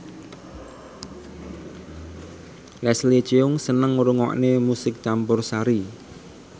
Leslie Cheung seneng ngrungokne musik campursari